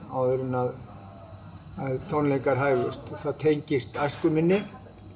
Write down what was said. áður en að tónleikar hæfust það tengist æsku minni